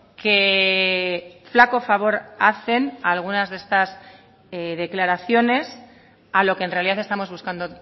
que flaco favor hacen algunas de estas declaraciones a lo que en realidad estamos buscando